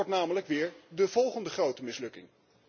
Het wordt namelijk weer de volgende grote mislukking.